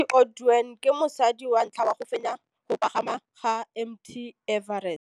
Cathy Odowd ke mosadi wa ntlha wa go fenya go pagama ga Mt Everest.